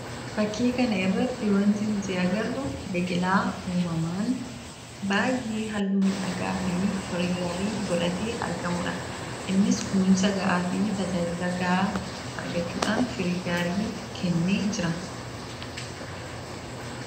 Fakkii kana irratti wanti nuti agarru, biqilaa uumamaan baay'ee hallu miidhagaa fi firii gaarii godhatee argamuudha. Innis kunuunsa ga'aa fi tajaajila ga'a argachuudhaan firii gaarii kennee jira.